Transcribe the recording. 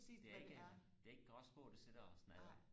det er ikke en det er ikke en gråspurv der sidder og snaldrer